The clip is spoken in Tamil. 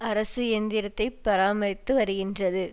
அரசு இயந்திரத்தை பராமரித்து வருகின்றது